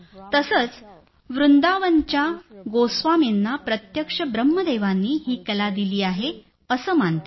तसंच वृंदावनच्या गोस्वामींना प्रत्यक्ष ब्रह्मदेवांनी ही कला दिली आहे असं मानतात